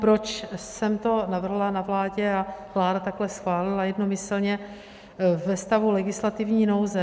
Proč jsem to navrhla na vládě a vláda takhle schválila jednomyslně ve stavu legislativní nouze?